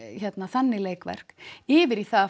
þannig leikverk yfir í það